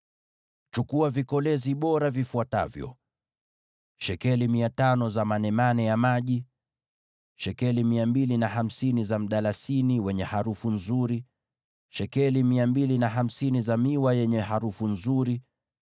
“Chukua vikolezi bora vifuatavyo: shekeli 500 za manemane ya maji, shekeli 250 za mdalasini wenye harufu nzuri, shekeli 250 za miwa yenye harufu nzuri,